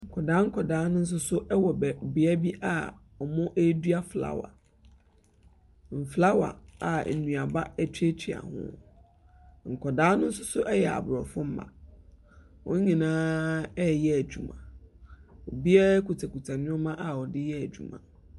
Nkwadakwadaa no soso ɛwɔ beabi a ɔmo edua flawa. Mflawa a eduaba etuatua ho. Nkwadaa no so ɛyɛ sborɔfo mba wɔn nyina ɛyɛ edwuma. Obia kutakuta neɛma a wɔde yɛ edwuma.